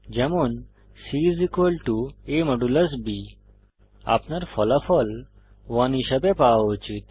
যেমন c a160 b আপনার ফলাফল 1 হিসাবে পাওয়া উচিত